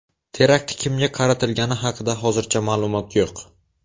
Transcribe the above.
Terakt kimga qaratilgani haqida hozircha ma’lumot yo‘q.